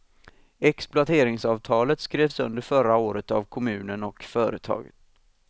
Exploateringsavtalet skrevs under förra året av kommunen och företaget.